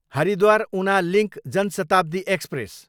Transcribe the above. Haridwar, Una link Janshatabdi express